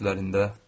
Özlərində.